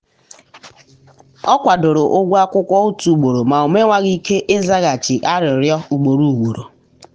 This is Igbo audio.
ọ kwadoro ụgwọ akwụkwọ otu ugboro ma o mewaghị ike izaghachi arịrịọ ugboro ugboro.